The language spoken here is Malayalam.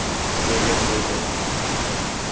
ജയിക്കട്ടെ ജയിക്കട്ടെ